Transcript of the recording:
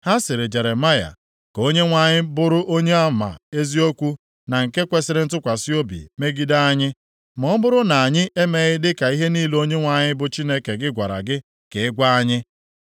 Ha sịrị Jeremaya, “Ka Onyenwe anyị bụrụ onyeama eziokwu na nke kwesiri ntụkwasị obi megide anyị, ma ọ bụrụ na anyị emeghị dịka ihe niile Onyenwe anyị bụ Chineke gị gwara gị ka ị gwa anyị.